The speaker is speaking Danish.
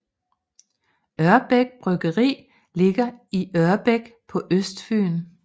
Ørbæk Bryggeri ligger i Ørbæk på Østfyn